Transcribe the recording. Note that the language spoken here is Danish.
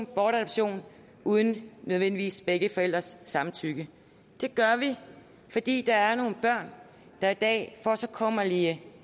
bortadoption uden nødvendigvis begge forældres samtykke det gør vi fordi der er nogle børn der i dag får en så kummerlig